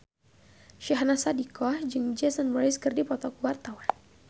Syahnaz Sadiqah jeung Jason Mraz keur dipoto ku wartawan